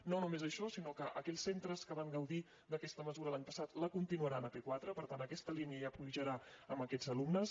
no només això sinó que aquells centres que van gaudir d’aquesta mesura l’any passat la continuaran a p4 per tant aquesta línia ja pujarà amb aquests alumnes